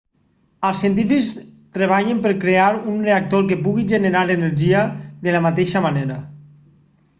els científics treballen per crear un reactor que pugui generar energia de la mateixa manera